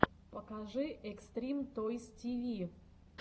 покажи экстрим тойс ти ви